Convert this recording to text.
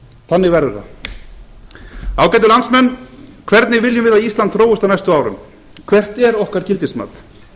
þannig verður það ágætu landsmenn hvernig viljum við að ísland þróist á næstu árum hvert er okkar gildismat